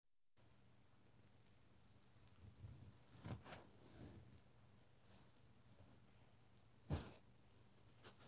anyị na-eso atụmatụ mmefu ego ma anyi na-azụta ihe n'ahịa